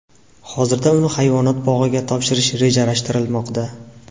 Hozirda uni hayvonot bog‘iga topshirish rejalashtirilmoqda.